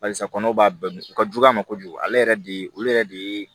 Barisa kɔnɔw b'a bɛɛ u ka jugu a ma kojugu ale yɛrɛ de olu yɛrɛ de ye